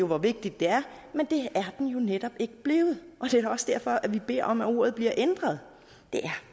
hvor vigtigt det er men det er den netop ikke blevet og det er da også derfor vi beder om at ordet bliver ændret det er